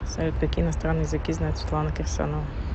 салют какие иностранные языки знает светлана кирсанова